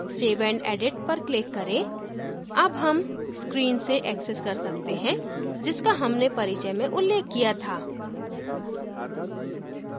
save and edit पर click करें अब हम screen से access कर सकते हैं जिसका हमने परिचय में उल्लेख किया था